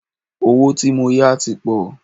Owó tí mó yá tí pọ̀.